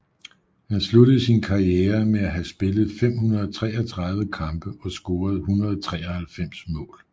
Han sluttede sin karriere med at have spillet 533 kampe og scoret 193 mål